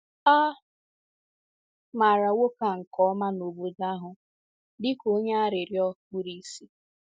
A maara nwoke a nke ọma n’obodo ahụ dị ka onye arịrịọ kpuru ìsì.